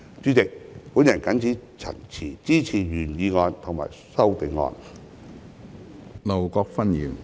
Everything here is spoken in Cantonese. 主席，我謹此陳辭，支持原議案及修正案。